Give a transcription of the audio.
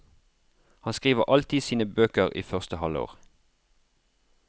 Han skriver alltid sine bøker i første halvår.